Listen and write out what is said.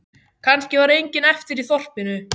Kannski var enginn eftir í þorpinu.